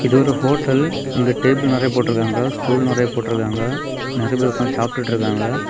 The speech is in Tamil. இது ஒரு ஹோட்டல் . இங்க டேபிள் நிறைய போட்ருக்காங்க. ஸ்டூல் நிறைய போட்ருக்காங்க. நிறைய பேர் உக்காந்து சாப்டுட்டு இருக்காங்க.